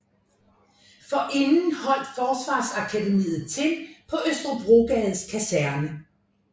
Forinden holdt Forsvarsakademiet til på Østerbrogades Kaserne